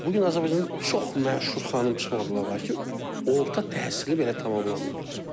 Bu gün Azərbaycanda çox məşhur xanım psixoloqlar var ki, orta təhsili belə tamamlamayıblar.